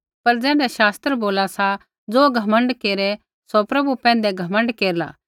पर ज़ैण्ढै शास्त्र बोला सा ज़ो घमण्ड केरै सौ प्रभु पैंधै घमण्ड केरला